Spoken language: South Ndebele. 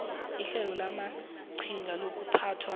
ihlelo lamaqhinga lokuphathwa